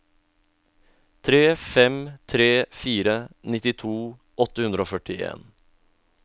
tre fem tre fire nittito åtte hundre og førtien